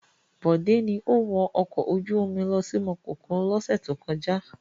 Rárá, Bode ni ó wọ ọkọ̀ ojú-omi lọ sí Makòko lọ́sẹ̀ tó kọjá.